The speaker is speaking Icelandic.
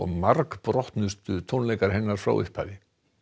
margbrotnustu tónleikar hennar frá upphafi